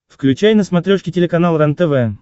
включай на смотрешке телеканал рентв